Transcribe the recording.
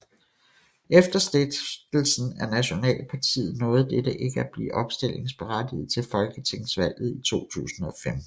Efter stiftelsen af Nationalpartiet nåede dette ikke at blive opstillingsberettiget til folketingsvalget i 2015